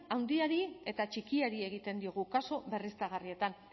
handiari eta txikiari egiten diegu kasu berriztagarrietan